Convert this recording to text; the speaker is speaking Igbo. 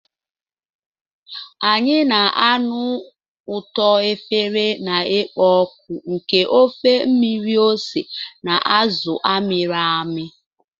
Anyị na-anụ ụtọ efere na-ekpo ọkụ nke ofe mmiri ose na azụ a mịrị amị.